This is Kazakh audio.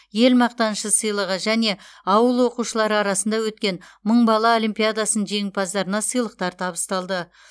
ел мақтанышы сыйлығы және ауыл оқушылары арасында өткен мың бала олимпиадасының жеңімпаздарына сыйлықтар табысталды